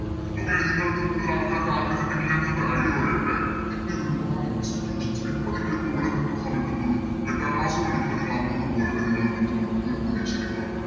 Okay നിങ്ങൾക്ക് കൂടുതല് ആൾക്കാർക്ക് ആഗ്രഹ്ണ്ടെങ്കിൽ ഞാ നിങ്ങക്കൊരു idea പറയട്ടെ ഇന്ത്യയിലെ ഒരുപാട് Institutions ല് ഇപ്പൊ നിങ്ങള് ഇപ്പൊ ഇവിടെ നിക്കുന്ന സമയത്ത്ന്നൊരു എട്ടാം Class ല് പഠിക്കുമ്പോ നിങ്ങള് അങ്ങോട്ട് പോവൂലെ നിങ്ങളെ വീട്ടീന്ന് വിടൂന്ന് ഒരു പ്രതീക്ഷയും നിങ്ങള് വെക്കണ്ട